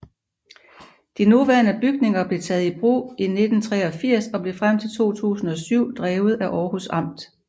De nuværende bygninger blev taget i brug i 1983 og blev frem til 2007 drevet af Århus Amt